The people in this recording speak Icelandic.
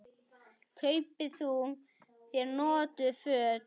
Kaupi þú þér notuð föt?